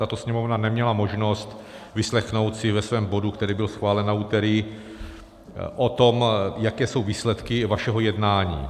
Tato Sněmovna neměla možnost vyslechnout si ve svém bodu, který byl schválen na úterý, o tom, jaké jsou výsledky vašeho jednání.